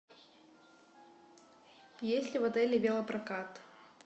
есть ли в отеле велопрокат